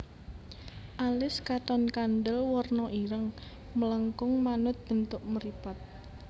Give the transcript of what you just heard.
Alis katon kandel werna ireng melengkung manut bentuk mripat